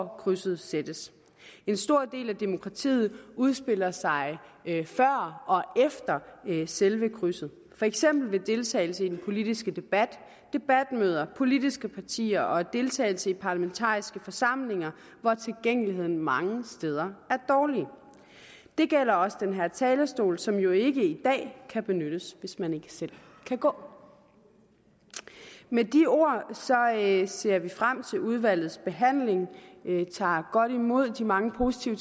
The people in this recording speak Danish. krydset sættes en stor del af demokratiet udspiller sig før og efter selve krydset er for eksempel ved deltagelse i den politiske debat debatmøder politiske partier og ved deltagelse i parlamentariske forsamlinger hvor tilgængeligheden mange steder er dårlig det gælder også den her talerstol som jo ikke i dag kan benyttes hvis man ikke selv kan gå med de ord ser vi frem til udvalgsbehandlingen vi tager godt imod de mange positive